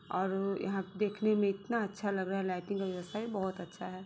और यहा देखने मे इतना अच्छा लग रहा है लाइटिंग व्यवस्था भी बहुत अच्छा है।